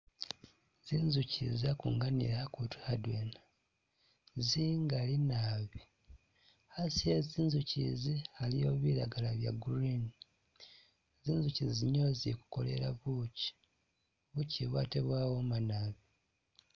Zinzukyi izi zakunganile akutu adwena zingali naabi, asi e zinzukyi izi aliwo bilagala bya green, zinzukyi izi nizo zikukolela bukyi, bukyi ibu ate bwawoma naabi